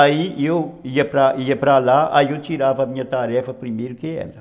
Aí eu ia ia para lá, aí eu tirava a minha tarefa primeiro que ela.